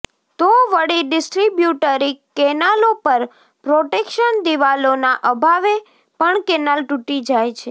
તો વળી ડિસ્ટ્રીબ્યુટરી કેનાલો પર પ્રોટેક્શન દીવાલોનાં અભાવે પણ કેનાલ તૂટી જાય છે